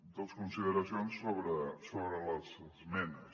dues consideracions sobre les esmenes